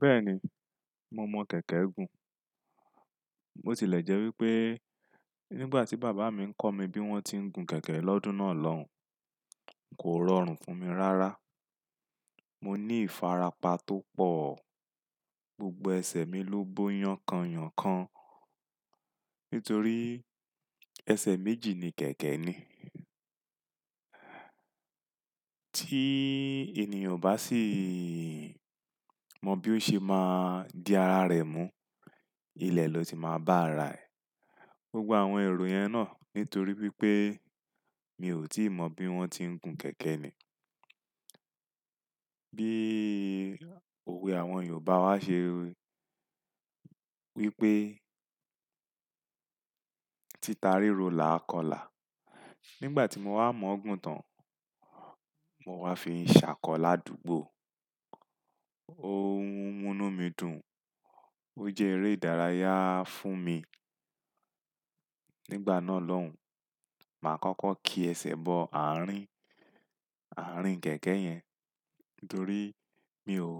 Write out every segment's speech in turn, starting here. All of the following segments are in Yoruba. Bẹ́ẹ̀ni, mo mọ kẹ̀kẹ́ gùn. Mótilẹ̀ jẹ́ wípé nígbà tí bàbá mi ń kọ́ mi bí wón ti ń gun kẹ̀kẹ́ lọ́dún náà lọ́hùn, kò rọrùn fún mi rárá. Mo ní ìfarapa tó pọ̀. Gbogbo ẹsẹ̀ mi ló bó yan kanyan kanyan nítorí ẹsẹ̀ méjì ni kẹ̀kẹ́ ní. Tí ènìyàn ò bá sì mọ bí ó ṣe máa di ara rẹ̀ mú, ilẹ̀ ló ti máa bá ara ẹ. Gbogbo àwọn èrò yẹn náà nítorí wípé mi ò tí ì mọ bí wón ti ń gun kẹ̀kẹ́ ni. Bí òwe àwọn Yorùbá wá ṣe wípé "títarí ro là á kọlà". Nígbà tí mo wá mọ̀ ọ́ gùn tán, mo wá fi n ṣàkọ lá dùgbò. Òhun munú mi dùn. Ó jẹ́ eré ìdárayá fún mi. Nígbà náà lọ́hùn, màá kọ́kọ́ ki ẹsẹ̀ bọ àárín, àárín kẹ̀kẹ́ yẹn nítorí mi ò,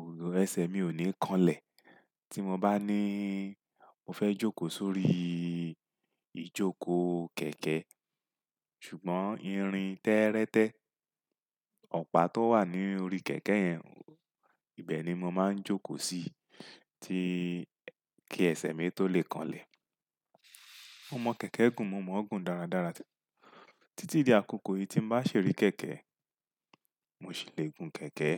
ẹsẹ̀ mi ò ní kanlẹ̀. Tí mo bá ní mo fẹ́ jókòó sórí ìjókòó kẹ̀kẹ́, ṣùgbọ́n irin tẹ́rẹ́tẹ́, ọ̀pá tó wà ní orí kẹ̀kẹ́ yẹn, ibẹ̀ ni mo máa ń jókòó si ti kí ẹsẹ̀ mi tó lè kanlẹ̀. Mo mọ kẹ̀kẹ́ gùn, mo mọ̀ ọ́ gùn dáradára títí di àkókò yìí tí n bá ṣi rí kẹ̀kẹ́, mo sì le gun kẹ̀kẹ́.